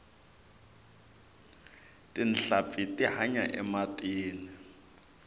tinhlampfi ti hanya ematini